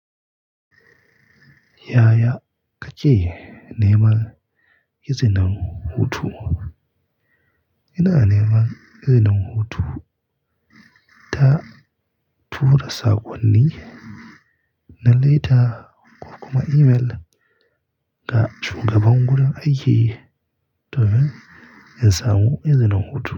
Yaya kake neman izinin hutu? Ina neman izinin hutu ta tura saƙonni na laita ko kuma email ga shugaban wurin aiki domin in yasamu izinin hutu.